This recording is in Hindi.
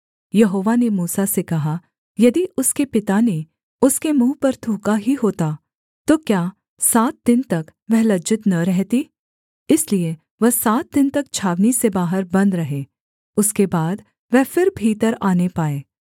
यहोवा ने मूसा से कहा यदि उसके पिता ने उसके मुँह पर थूका ही होता तो क्या सात दिन तक वह लज्जित न रहती इसलिए वह सात दिन तक छावनी से बाहर बन्द रहे उसके बाद वह फिर भीतर आने पाए